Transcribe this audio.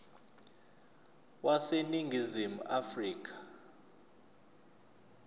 wase ningizimu afrika